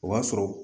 O b'a sɔrɔ